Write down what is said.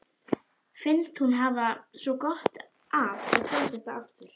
Finnst hún hafa svo gott af að sjá þetta aftur.